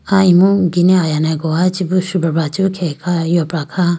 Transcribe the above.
ah imu gine ayane gowa chibi boo shujabra chibi khege kha yopra kha.